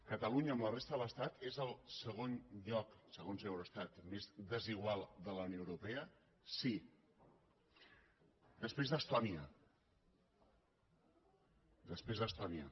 catalunya amb la resta de l’estat és el segon lloc segons eurostat més des igual de la unió europea sí després d’estònia després d’estònia